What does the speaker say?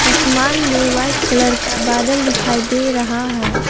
आसमान में white colour का बादल दिखाई दे रहा है।